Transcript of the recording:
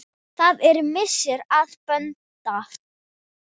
Það er missir að Bödda.